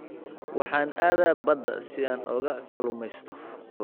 Waxaan aadaa badda si aan uga kalluumeysto